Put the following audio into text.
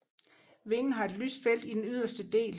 Vingen har et lyst felt i den yderste del